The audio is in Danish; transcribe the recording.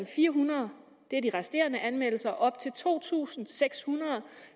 fire hundrede det er de resterende anmeldelser og op til to tusind seks hundrede